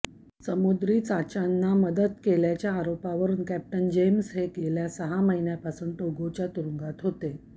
समुद्री चाच्यांना मदत केल्याच्या आरोपावरून कॅप्टन जेम्स हे गेल्या सहा महिन्यांपासून टोगोच्या तुरुंगात होते